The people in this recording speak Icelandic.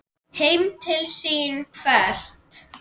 Heim til sín hvert?